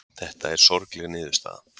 Þetta er sorgleg niðurstaða